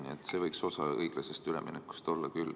Nii et see võiks osa õiglasest üleminekust olla küll.